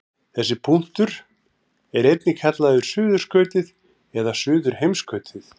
Þessi punktur er einnig kallaður suðurskautið eða suðurheimskautið.